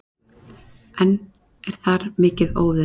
Enn er þar mikið óveður